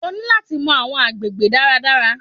O ní láti mọ àwọn agbègbè dára dára.